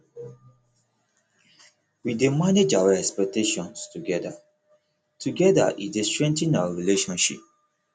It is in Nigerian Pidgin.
we dey manage our expectations together together e dey strengthen our relationship